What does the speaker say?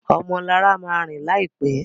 Ọmọ Lara má rìn láìpé.